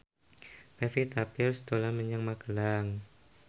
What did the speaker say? Pevita Pearce dolan menyang Magelang